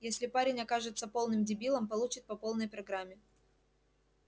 если парень окажется полным дебилом получит по полной программе